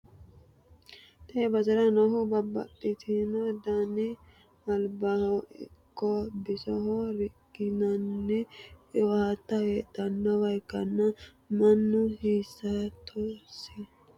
tee basera noohu babbaxxitino dani albaho ikko bisoho riqqinanni qiwaata heedhannowa ikkanna, mannu hasattosi garinni mare hidhe owaante afi'rannowaati, beettono angasera amadde no.